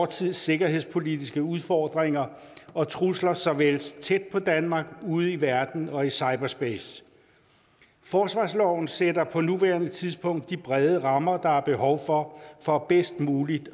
tids sikkerhedspolitiske udfordringer og trusler såvel tæt på danmark ude i verden og i cyberspace forsvarsloven sætter på nuværende tidspunkt de brede rammer der er behov for for bedst muligt